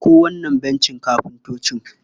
Ɗauko wancan bencin kafintoci.